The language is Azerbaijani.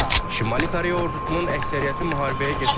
Şimali Koreya ordusunun əksəriyyəti müharibəyə getmək istəyir.